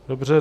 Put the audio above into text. Dobře.